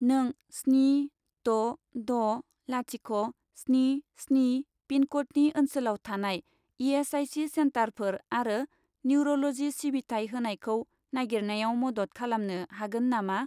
नों स्नि द' द' लाथिख' स्नि स्नि पिनक'डनि ओनसोलाव थानाय इ.एस.आइ.सि. सेन्टारफोर आरो निउर'ल'जि सिबिथाय होनायखौ नागिरनायाव मदद खालामनो हागोन नामा?